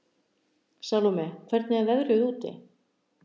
Salóme, hvernig er veðrið úti?